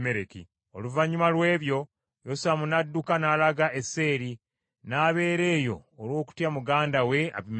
Oluvannyuma lw’ebyo, Yosamu n’adduka n’alaga e Beeri, n’abeera eyo olw’okutya muganda we Abimereki.